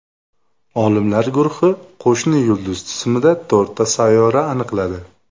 Olimlar guruhi qo‘shni yulduz tizimida to‘rtta sayyora aniqladi.